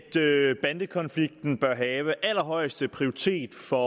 i at bandekonflikten bør have allerhøjeste prioritet for